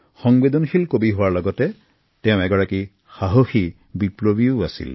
এগৰাকী সহানুভূতিশীল কবি হোৱাৰ লগতে তেওঁ আছিল এগাৰকী সাহসী বিপ্লৱী